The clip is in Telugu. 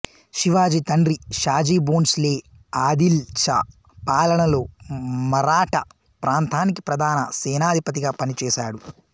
శివాజి తండ్రి షాజీ బోన్స్ లే ఆదిల్ షా పాలనలో మరాఠా ప్రాంతానికి ప్రధాన సేనాధిపతిగా పనిచేశాడు